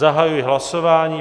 Zahajuji hlasování.